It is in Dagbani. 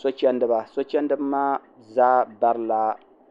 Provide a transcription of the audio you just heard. so chɛndiba